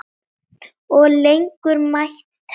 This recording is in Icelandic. Og lengur mætti telja.